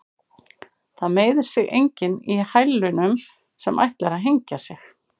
Það meiðir sig enginn í hælunum sem ætlar að hengja sig.